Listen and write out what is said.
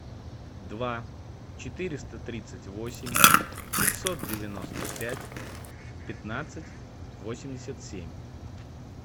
два четыреста тридцать восемь пятьсот девяносто пять пятнадцать восемьдесят семь